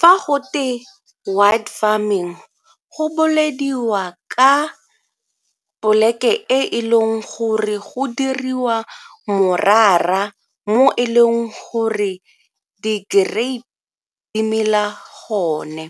Fa gote wine farming go bolediwa ka poleke e e leng gore go diriwa morara mo e leng gore di-grape di mela gone.